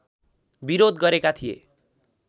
विरोध गरेका थिए